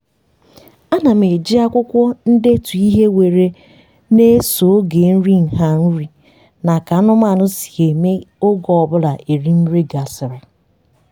ana m eji akwụkwọ ndetu ihe were na-eso oge nri nha nri na ka anụmanụ si eme oge ọbụla erim nri gasịrị